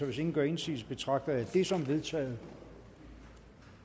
hvis ingen gør indsigelse betragter jeg det som vedtaget